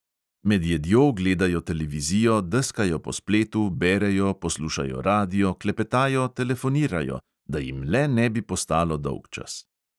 Med jedjo gledajo televizijo, deskajo po spletu, berejo, poslušajo radio, klepetajo, telefonirajo – da jim le ne bi postalo dolgčas.